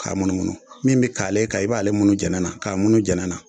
K'a munnumunnu min be kaale kan i b'ale munnu jɛnɛ na k'a munnu jɛnɛ na